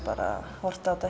horft á þetta